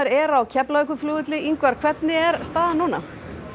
er á Keflavíkurflugvelli Ingvar hvernig er staðan núna